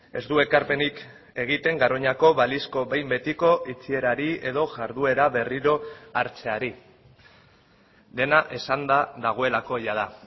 ez du ekarpenik egiten garoñako balizko behin betiko itxierari edo jarduera berriro hartzeari dena esanda dagoelako jada